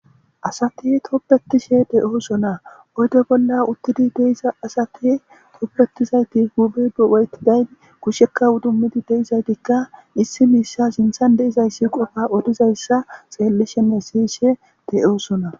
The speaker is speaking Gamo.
asati toppetishe de7oosona oyde bolla uttidi deiza asati toppetizayti hubewayti dayn kushekka udummidi deizaytikka issi miissa sinthan deizayssi qofa odizayssa xeellishenne siyishe de7oosona